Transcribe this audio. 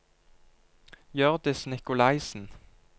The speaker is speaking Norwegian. Hjørdis Nikolaisen